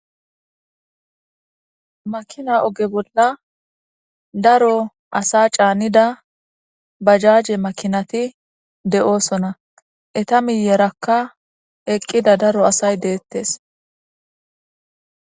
Makina oge bolla daro asa caanida bajaaje makinati de'oosona eta miyerakka eqqida daro asay deettes.